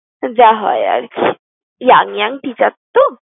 যা হয় আর কি, young young teacher তো।